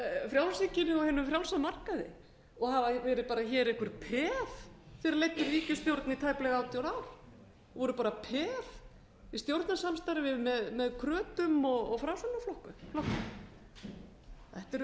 frjálshyggjunni og hinum frjálsa markaði og hafa verið bara hér einhver peð þegar þeir leiddu ríkisstjórn í tæplega átján ár voru bara peð í stjórnarsamstarfi með krötum og framsóknarflokknum þetta eru